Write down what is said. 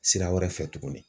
Sira wɛrɛ fɛ tuguni.